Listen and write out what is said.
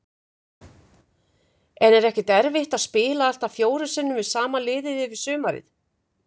En er ekkert erfitt að spila allt að fjórum sinnum við sama liðið yfir sumarið?